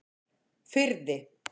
Firði